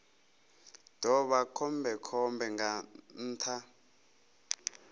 ḓo vha khombekhombe nga nnḓa